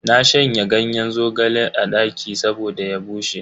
Na shanya ganyen zogalen a daki saboda ya bushe.